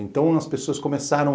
Então, as pessoas começaram a...